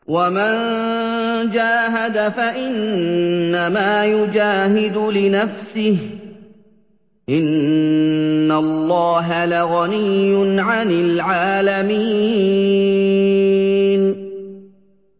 وَمَن جَاهَدَ فَإِنَّمَا يُجَاهِدُ لِنَفْسِهِ ۚ إِنَّ اللَّهَ لَغَنِيٌّ عَنِ الْعَالَمِينَ